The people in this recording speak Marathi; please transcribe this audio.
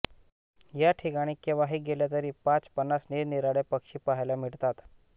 या ठिकाणी केव्हाही गेले तरी पाचपन्नास निरनिराळे पक्षी पहायला मिळतात